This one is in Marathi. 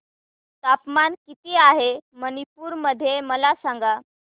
तापमान किती आहे मणिपुर मध्ये मला सांगा